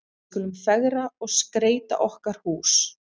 Við skulum fegra og skreyta okkar hús.